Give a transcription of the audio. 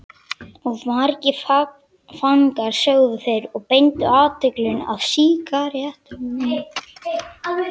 Of margir fangar sögðu þeir og beindu athyglinni að sígarettunum.